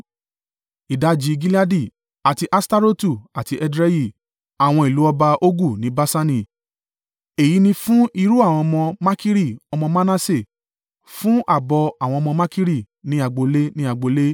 ìdajì Gileadi, àti Aṣtarotu àti Edrei (àwọn ìlú ọba Ogu ní Baṣani). Èyí ni fún irú àwọn ọmọ Makiri ọmọ Manase fún ààbọ̀ àwọn ọmọ Makiri, ní agbo ilé ní agbo ilé.